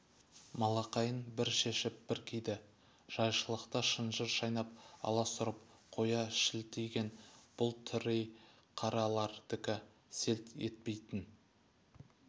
малақайын бір шешіп бір киді жайшылықта шынжыр шайнап аласұрып қоя шілтиген бұл тыри қаралардікі селт етпейтін